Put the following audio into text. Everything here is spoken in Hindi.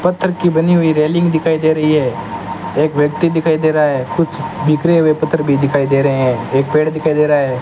पत्थर की बनी हुई रेलिंग दिखाई दे रही है एक व्यक्ति दिखाई दे रहा है कुछ बिखरे हुए पत्थर भी दिखाई दे रहे हैं एक पेड़ दिखाई दे रहा है।